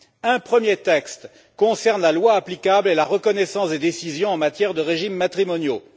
Un premier texte concerne la loi applicable et la reconnaissance des décisions en matière de régimes matrimoniaux.